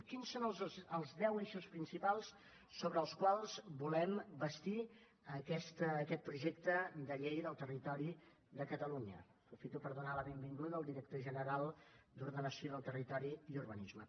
quins són els deu eixos principals sobre els quals volem bastir aquest projecte de llei del territori de catalunya aprofito per donar la benvinguda al director general d’ordenació del territori i urbanisme